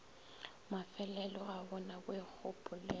mafelelo ga go na boikgopolelo